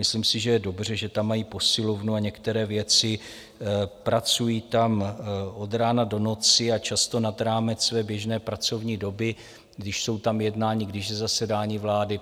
Myslím si, že je dobře, že tam mají posilovnu a některé věci, pracují tam od rána do noci a často nad rámec své běžné pracovní doby, když jsou tam jednání, když je zasedání vlády.